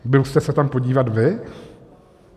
Byl jste se tam podívat vy?